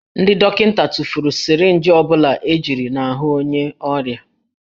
Ndị dọkịta tụfuru sirinji ọ bụla ejiri n'ahụ onye ọrịa